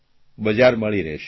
બજાર મળી રહેશે